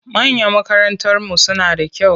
Mayan makarantarmu suna da kyau.